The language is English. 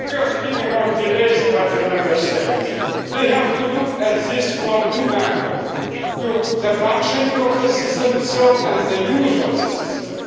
Speaking of delays by the Member States, we have to look at this from two angles the functioning of the system itself, and the use of the